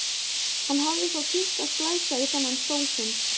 Hann hafði þó tímt að splæsa í þennan stól sinn.